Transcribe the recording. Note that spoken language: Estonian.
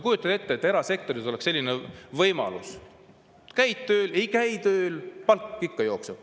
Kujutage ette, kui erasektoris oleks selline võimalus: käid tööl või ei käi, palk ikka jookseb.